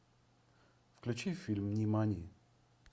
включи фильм нимани